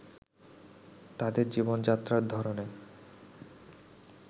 তাদের জীবনযাত্রার ধরনে